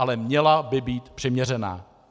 Ale měla by být přiměřená.